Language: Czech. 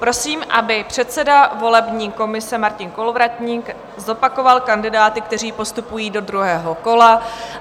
Prosím, aby předseda volební komise Martin Kolovratník zopakoval kandidáty, kteří postupují do druhého kola.